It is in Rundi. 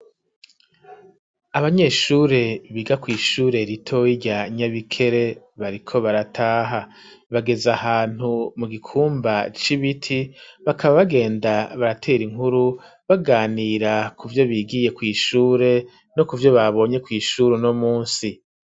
Abanyeshure biga kw'ishure ritoyi rya Nyabikere, bariko barataha; bageze ahantu mu gikumba c'ibiti, bakaba bagenda baratera inkuru, baganira kuvyo bigiye kw'ishure, no kuvyo babonye kw'ishure uno munsi.